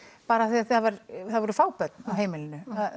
bara af því það voru fá börn á heimilinu